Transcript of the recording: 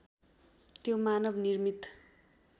त्यो मानव निर्मित